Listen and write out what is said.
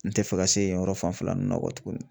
N tɛ fɛ ka se yen yɔrɔ fanfɛ la ninnu na kɔtuguni.